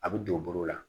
A bɛ don bolo la